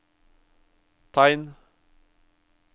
tegn